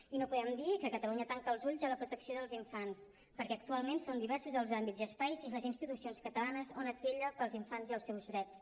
i no podem dir que catalunya tanca els ulls a la protecció dels infants perquè actualment són diversos els àmbits i espais i les institucions catalanes on es vetlla pels infants i els seus drets